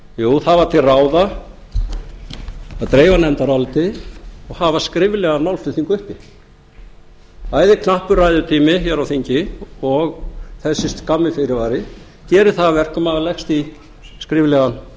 jú það var til ráða að dreifa nefndaráliti og hafa skriflegan málflutning uppi bæði knappur ræðutími hér á þingi og þessi skammi fyrirvari gerir það að verkum að maður leggst í skriflegan